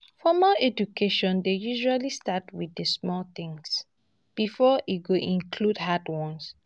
formal education dey usually start with di small things before e go include hard ones